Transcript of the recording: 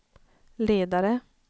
ledare